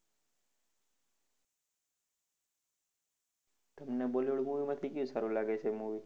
તમને bollywood movie માંથી કયું સારું લાગે છે movie?